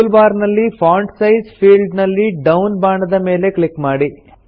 tool bar ನಲ್ಲಿ font size field ನಲ್ಲಿ down ಬಾಣದ ಮೇಲೆ ಕ್ಲಿಕ್ ಮಾಡಿ